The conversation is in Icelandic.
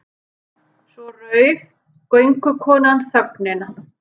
Svo rauf göngukonan þögnina.